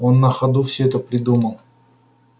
он на ходу все это придумал